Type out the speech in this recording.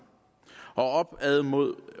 og opad med